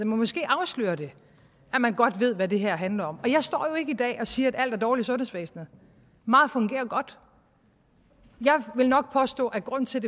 måske afslører det at man godt ved hvad det her handler om jeg står jo ikke i dag og siger at alt er dårligt i sundhedsvæsenet meget fungerer jo godt jeg vil nok påstå at grunden til